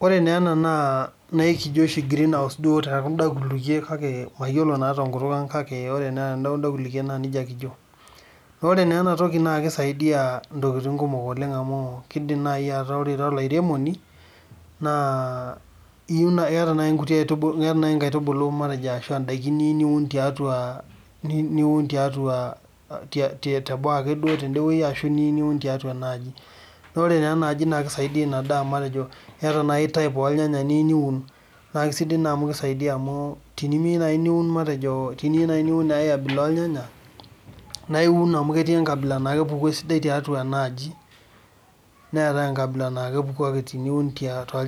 This we called it green house in other languages because I don't know it in our language and this thing helps many things because it can when you are a farmer and you have some seedlings or other crops that you want to plant inside this house and this will help that food like types of tomatoes because if you want to plant a different type of tomatoes that grows well here because other grow well here and it is good because it prevent other things from entering here this house is like a cloud because it prevents